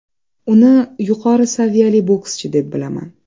Uni yuqori saviyali bokschi deb bilaman.